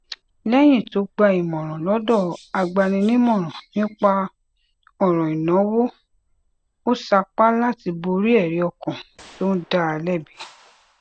léyìn tó gba ìmòràn lódò agbaninímòràn nípa òràn ìnáwó ó sapá láti borí èrí ọkàn tó ń dá a lébi